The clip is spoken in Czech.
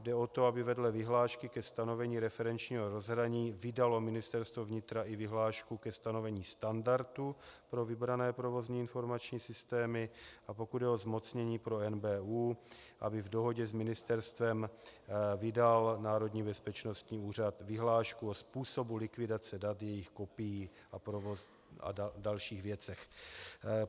Jde o to, aby vedle vyhlášky ke stanovení referenčního rozhraní vydalo Ministerstvo vnitra i vyhlášku ke stanovení standardu pro vybrané provozně informační systémy, a pokud jde o zmocnění pro NBÚ, aby v dohodě s ministerstvem vydal Národní bezpečnostní úřad vyhlášku o způsobu likvidace dat, jejich kopií a dalších věcech.